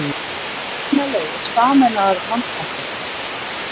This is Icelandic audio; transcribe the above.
Eignaleigur sameinaðar Landsbanka